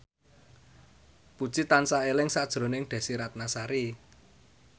Puji tansah eling sakjroning Desy Ratnasari